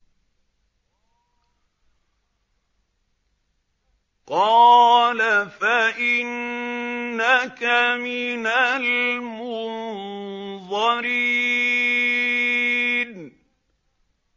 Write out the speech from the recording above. قَالَ فَإِنَّكَ مِنَ الْمُنظَرِينَ